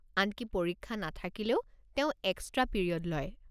আনকি পৰীক্ষা নাথাকিলেও তেওঁ এক্সট্ৰা পিৰিয়ড লয়।